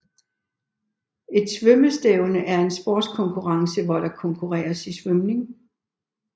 Et svømmestævne er en sportskonkurrence hvor der konkurreres i svømning